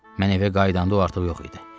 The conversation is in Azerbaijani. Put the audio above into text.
Mən evə qayıdanda o artıq yox idi.